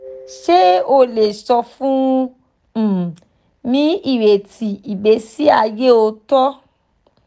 ṣe o le sọ fun um mi ireti igbesi aye ooto